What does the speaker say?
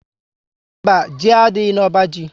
Mba, Ji adịghị na ọbá jị